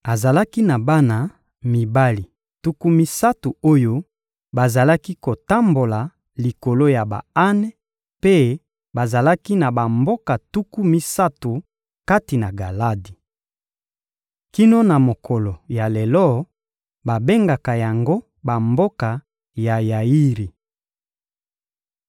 Azalaki na bana mibali tuku misato oyo bazalaki kotambola likolo ya ba-ane, mpe bazalaki na bamboka tuku misato kati na Galadi. Kino na mokolo ya lelo, babengaka yango «Bamboka ya Yairi.»